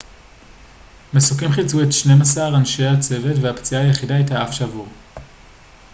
מסוקים חילצו את שנים-עשר אנשי הצוות והפציעה היחידה הייתה אף שבור